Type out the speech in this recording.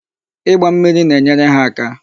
Ịgba mmiri na-enyere ha aka.